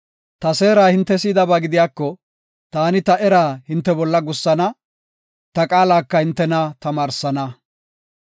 Ta seera hinte si7idaba gidiyako, taani ta eraa hinte bolla gussana; ta qaalaka hintena tamaarsana.